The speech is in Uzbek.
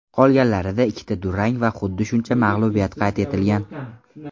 Qolganlarida ikkita durang va xuddi shuncha mag‘lubiyat qayd etilgan.